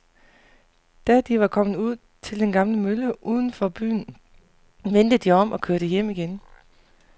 Da de var kommet ud til den gamle mølle uden for byen, vendte de om og kørte hjem igen.